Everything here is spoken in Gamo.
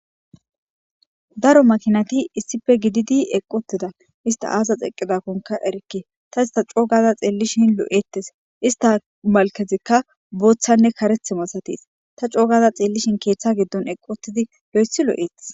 Daro makinati isipe gididi eqi utida hista azasi eqidako erike tasi ta coogada xelishe lo'etes .uba malketik botane karetha entika keta gidon eqi utidi loyto lo'es.